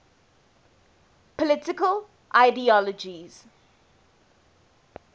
political ideologies